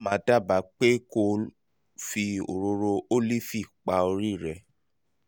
màá màá dábàá pé kó o fi òróró ólífì pa orí rẹ